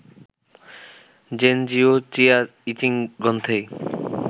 gen জিও চিয়া I Ching গ্রন্থেই